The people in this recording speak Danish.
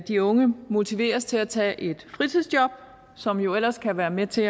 de unge motiveres til at tage et fritidsjob som jo ellers kan være med til